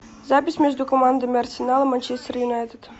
запись между командами арсенал и манчестер юнайтед